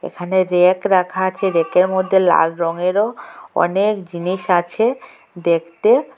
এখানে র্যাক রাখা আচে র্যাকের মধ্যে লাল রঙেরও অনেক জিনিস আছে দেখতে--